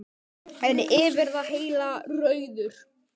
En yfir það heila: Rauður.